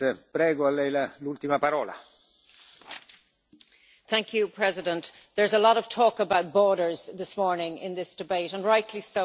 Mr President, there's a lot of talk about borders this morning in this debate, and rightly so around migration.